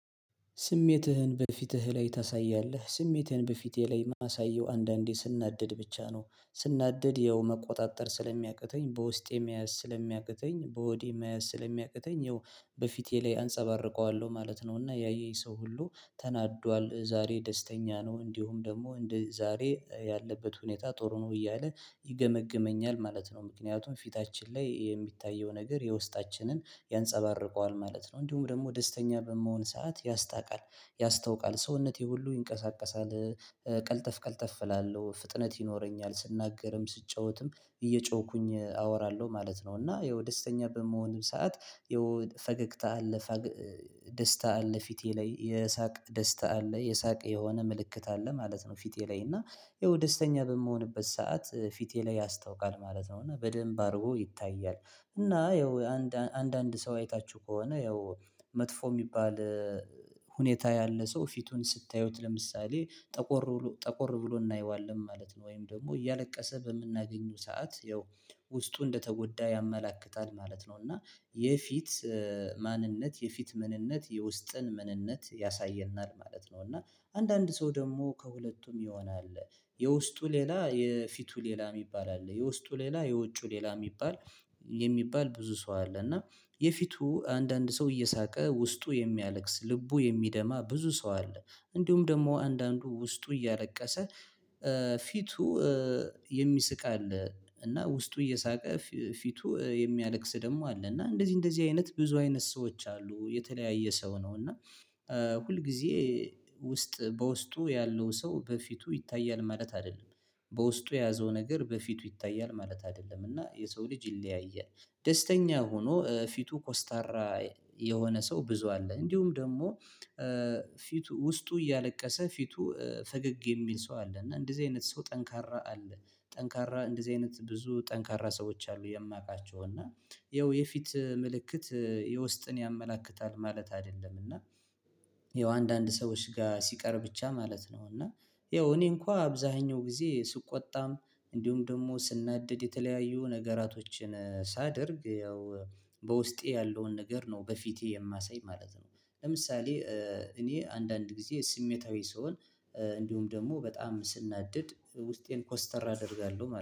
ስሜትህን በፊትህ ላይ ታሳያለህ ስሜትህን በፊቴ ላይ ማሳየው አንዳንዴ ስናደድ ብቻ ነው። ስናደድ ያው መቆጣጠር ስለሚያቅተኝ በውስጤ መያዝ ስለሚያቅተኝ በሆዴ መያዝ ስለሚያቅተኝ ያው በፊቴ ላይ አንጸባርቀዋለሁ ማለት ነው። እና ያየኝ ሰው ሁሉ ተናዷል ዛሬ ደስተኛ ነው እንዲሁም ደግሞ እንደ ዛሬ ያለበት ሁኔታ ጥሩ ነው እያለ ይገመግመኛል ማለት ነው። ምክንያቱም ፊታችን ላይ የሚታየው ነገር የውስጣችንን ያንፀባርቀዋል ማለት ነው። እንዲሁም ደግሞ ደስተኛ በመሆን ሰዓት ያስታውቃል። ያስታውቃል ሰውነቴ ሁሉ ይንቀሳቀሳል ቀልጠፍ ቀልጠፍ እላለሁ ፍጥነት ይኖረኛል ስናገርም ስጫወትም እየጮኩኝ አወራለሁ ማለት ነው። እና ያው ደስተኛ በምሆንም ሰዓት የው ፈገግታ አለ። ደስታ አለ ፊቴ ላይ የሳቅ ደስታ አለ የሳቅ የሆነ ምልክት አለ ማለት ነው። ፊቴ ላይ እና ይኸው ደስተኛ በምሆንበት ሰዓት ፊቴ ላይ ያስታውቃል ማለት ነው። እና በደንብ አድርጎ ይታያል። እና ያው አንዳንድ ሰው አይታችሁ ከሆነ ያው መጥፎ የሚባል ሁኔታ ያለ ሰው ፊቱን ስታዩት ለምሳሌ ጠቆር ጠቆር ብሎ እናየዋለን ማለት ነው። ወይም ደግሞ እያለቀሰ በምናገኘው ሰዓት ያው ውስጡ እንደተጎዳ ያመለክታል ማለት ነው። እና የፊት ማንነት የፊት ምንነት የውስጥን ምንነት ያሳየናል ማለት ነው። እና አንዳንድ ሰው ደግሞ ከሁለቱም የሆነ አለ። የውስጡ ሌላ የፊቱ ሌላ የሚባል አለ የውስጡ ሌላ የውጪው ሌላ የሚባል ብዙ ሰው አለ። እና የፊቱ አንዳንድ ሰው እየሳቀ ውስጡ የሚያለቅስ ልቡ የሚደማ ብዙ ሰው አለ። እንዲሁም ደግሞ አንዳንዱ ውስጡ እያለቀሰ ፊቱ የሚስቅ አለ። እና ውስጡ እየሳቀ ፊቱ የሚያለቅስ ደግሞ አለ እና እንደዚህ እንደዚህ አይነት ብዙ አይነት ሰዎች አሉ የተለያየ ሰው ነው። እና ሁልጊዜ ውስጥ በውስጡ ያለው ሰው በፊቱ ይታያል ማለት አይደለም። በውስጡ የያዘው ነገር በፊቱ ይታያል ማለት አይደለም። እና የሰው ልጅ ይለያያል። ደስተኛ ሆኖ ፊቱ ኮስታራ የሆነ ሰው ብዙ አለ። እንዲሁም ደግሞ ፊቱ ውስጡ እያለቀሰ ፊቱ ፈገግ የሚል ሰው አለ። እና እንደዚህ አይነት ሰው ጠንካራ አለ። ጠንካራ እንደዚህ አይነት ብዙ ጠንካራ ሰዎች አሉ። የማቃቸው እና ይኸው የፊት ምልክት የውስጥን ያመላክታል ማለት አይደለም። እና ያው አንዳንድ ሰዎች ጋር ሲቀር ብቻ ማለት ነው። እና ያው እኔ እንኳን አብዛኛው ጊዜ ስቆጣም እንዲሁም ደግሞ ስናደድ የተለያዩ ነገራቶችን ሳደርግ ያው በውስጤ ያለውን ነገር ነው በፊቴ የማሳይ ማለት ነው። ለምሳሌ እኔ አንዳንድ ጊዜ ስሜታዊ ስሆን እንዲሁም ደግሞ በጣም ስናደድ ውስጤን ኮስተር አደርጋለሁ